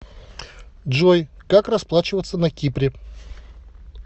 джой как расплачиваться на кипре